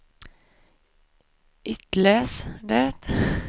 itläs det